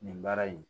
Nin baara in